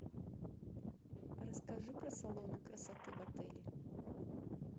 расскажи про салоны красоты в отеле